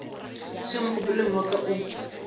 seo mogopolo wa ka o